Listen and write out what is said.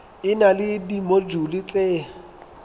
e na le dimojule tse